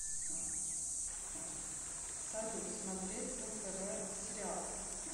салют смотреть нтв сериал